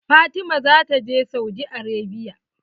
Fatima zata je Saudi Arabia.